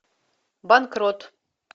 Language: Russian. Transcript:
банкрот